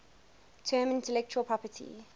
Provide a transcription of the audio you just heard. term intellectual property